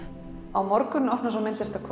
á morgun opnar svo